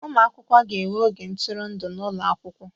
Ụmụ akwụkwọ ga-enwe oge ntụrụndụ n'ụlọ akwụkwọ